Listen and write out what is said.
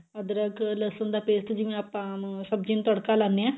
ਅਦਰਕ ਲਸੁਨ ਦਾ paste ਜਿਵੇਂ ਆਪਾਂ ਸਬਜੀ ਨੂੰ ਤੜਕਾ ਲਾਉਣੇ ਆ